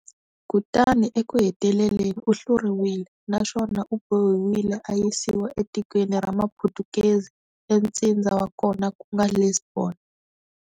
Kutani eku heteleleni u hluriwile, naswona u bohiwile a yisiwa etikweni ra maphutukezi e ntsindza wa kona kunga Lisbon.